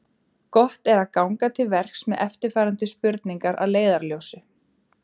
Gott er ganga til verks með eftirfarandi spurningar að leiðarljósi: